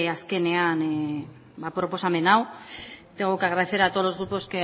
azkenean proposamen hau tengo que agradecer a todos los grupos